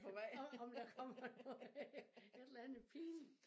Om om der kommer noget øh et eller andet pinligt